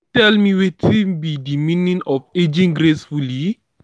you fit tell me wetin be di meaning of aging gracefully?